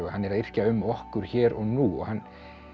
hann er að yrkja um okkur hér og nú hann